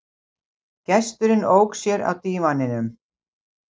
Gesturinn ók sér á dívaninum.